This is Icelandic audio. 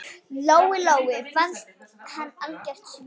Lóu-Lóu fannst hann algjört svín.